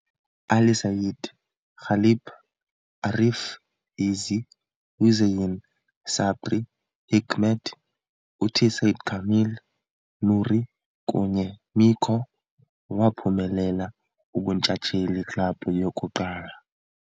Ali Said, Galip, Arif, Izzi, Hüseyin, sabri, Hikmet, uthi Sa'd Kamil, Nuri kunye Mico, waphumelela ubuntshatsheli club yokuqala.